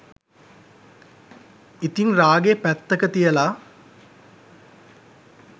ඉතිං රාගේ පැත්තක තියලා